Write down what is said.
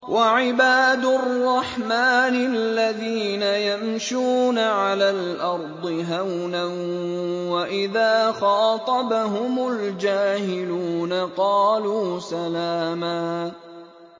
وَعِبَادُ الرَّحْمَٰنِ الَّذِينَ يَمْشُونَ عَلَى الْأَرْضِ هَوْنًا وَإِذَا خَاطَبَهُمُ الْجَاهِلُونَ قَالُوا سَلَامًا